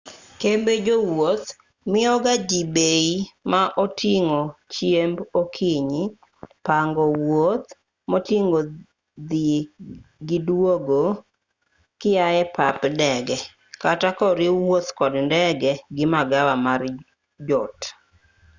kembe jowuoth miyoga ji bei ma oting'o chiemb okinyi pango wuoth moting'o dhi gi duogo kiae pap ndege kata koriw wuoth kod ndege gi magawa mar jot